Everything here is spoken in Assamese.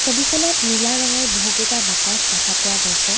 ছবিখনত নীলা ৰঙৰ বহুকেইটা বাকচ দেখা পোৱা গৈছে।